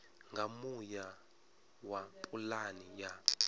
nga muya wa pulane ya